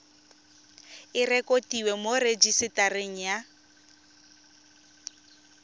e rekotiwe mo rejisetareng ya